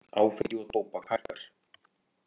Áfengi og tóbak hækkar